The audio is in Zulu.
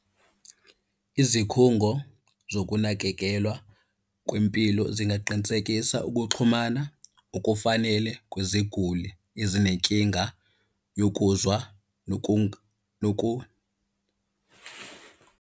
Izikhungo zokunakekelwa kwempilo zingaqinisekisa ukuxhumana okufanele kweziguli ezinenkinga yokuzwa .